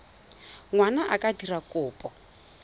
ngwana a ka dira kopo